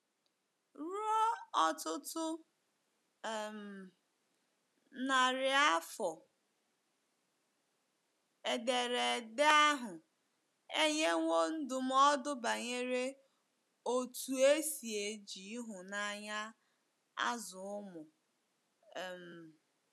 Ruo ọtụtụ um narị afọ, Ederede ahụ enyewo ndụmọdụ banyere otú e si eji ịhụnanya azụ ụmụ um.